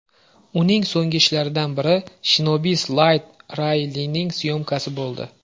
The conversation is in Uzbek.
Uning so‘nggi ishlaridan biri Shinobi’s Light Railing syomkasi bo‘ldi.